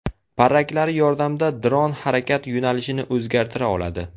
Parraklari yordamida dron harakat yo‘nalishini o‘zgartira oladi.